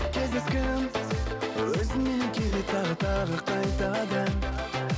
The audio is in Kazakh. кездескім өзіңменен келеді тағы тағы қайтадан